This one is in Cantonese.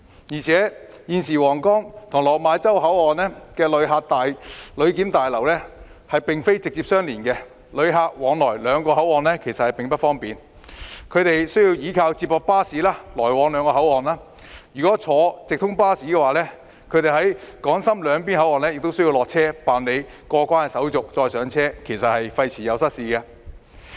而且，現時皇崗/落馬洲口岸的旅檢大樓並非直接相連，旅客往來兩個口岸並不方便，須依靠接駁巴士；如果坐直通巴士，他們在港深兩邊口岸亦須下車辦理過關手續後才再上車，費時失事。